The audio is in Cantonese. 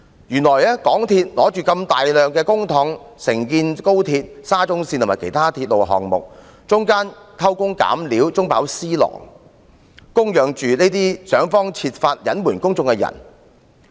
原來港鐵公司手握大量公帑承建高鐵、沙中線及其他鐵路項目，但卻偷工減料、中飽私囊，供養着這些設法隱瞞公眾的人。